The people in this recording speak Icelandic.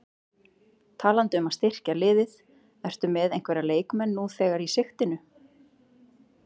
Talandi um að styrkja liðið, ertu með einhverja leikmenn nú þegar í sigtinu?